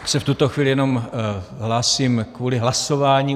Já se v tuto chvíli jenom hlásím kvůli hlasování.